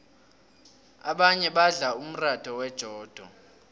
abanye badla umratha wejodo